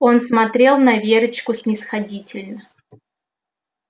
он смотрел на верочку снисходительно